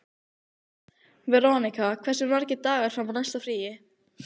Veronika, hversu margir dagar fram að næsta fríi?